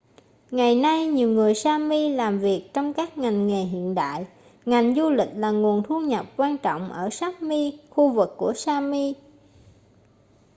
ngày nay nhiều người sami làm việc trong các ngành nghề hiện đại ngành du lịch là nguồn thu nhập quan trọng ở sapmi khu vực của sami